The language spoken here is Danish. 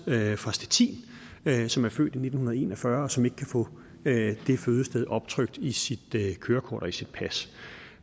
fra stettin som er født i nitten en og fyrre og som ikke kan få det fødested optrykt i sit kørekort og i sit pas